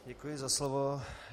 Děkuji za slovo.